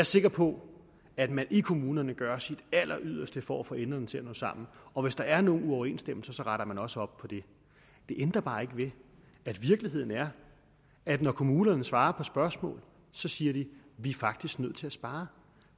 sikker på at man i kommunerne gør sit alleryderste for at få enderne til at nå sammen og hvis der er nogle uoverensstemmelser retter man også op på det det ændrer bare ikke ved at virkeligheden er at når kommunerne svarer på spørgsmål siger de vi er faktisk nødt til at spare